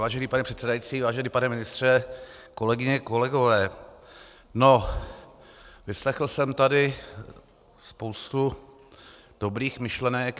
Vážený pane předsedající, vážený pane ministře, kolegyně, kolegové, no, vyslechl jsem tady spoustu dobrých myšlenek.